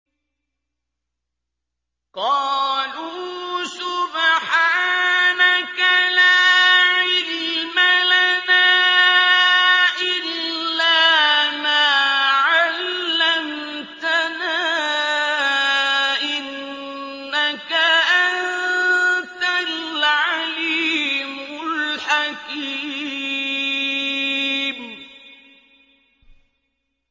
قَالُوا سُبْحَانَكَ لَا عِلْمَ لَنَا إِلَّا مَا عَلَّمْتَنَا ۖ إِنَّكَ أَنتَ الْعَلِيمُ الْحَكِيمُ